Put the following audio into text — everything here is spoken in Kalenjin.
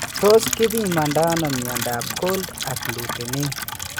Tos kipimandano myondab Cold agglutinin?